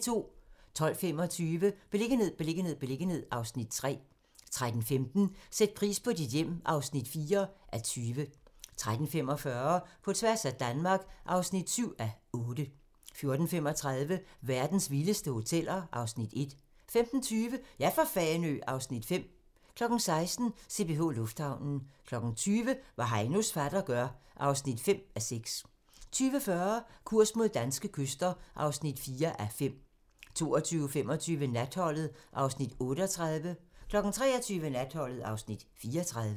12:25: Beliggenhed, beliggenhed, beliggenhed (Afs. 3) 13:15: Sæt pris på dit hjem (4:20) 13:45: På tværs af Danmark (7:8) 14:35: Verdens vildeste hoteller (Afs. 1) 15:20: Ja for Fanø! (Afs. 5) 16:00: CPH Lufthavnen 20:00: Hvad Heinos fatter gør (5:6) 20:40: Kurs mod danske kyster (4:5) 22:25: Natholdet (Afs. 38) 23:00: Natholdet (Afs. 34)